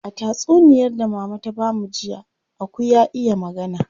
A tatsuniyar da mama ta bamu jiya, aku ya iya magana.